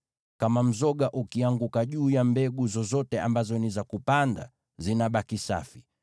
Kama mzoga ukianguka juu ya mbegu zozote ambazo ni za kupanda, zinabaki safi.